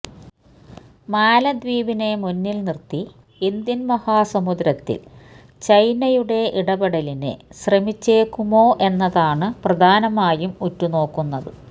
മാലദ്വീപിനെ മുന്നില് നിര്ത്തി ഇന്ത്യന് മഹാസമുദ്രത്തില് ചൈനയുടെ ഇടപെടലിന് ശ്രമിച്ചേക്കുമോ എന്നതാണ് പ്രധാനമായും ഉറ്റുനോക്കുന്നത്